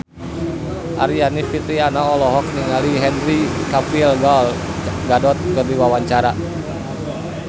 Aryani Fitriana olohok ningali Henry Cavill Gal Gadot keur diwawancara